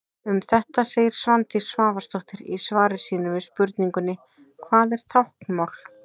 Um þetta segir Svandís Svavarsdóttir í svari sínu við spurningunni: Hvað er táknmál?